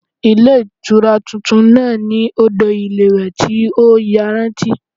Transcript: Ilé Ìtura tuntun náà ní odò ìlúwèé tí ó yanrantí